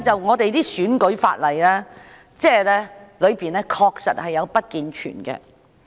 我們的選舉法例確實有不健全之處。